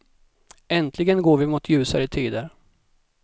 Äntligen går vi mot ljusare tider.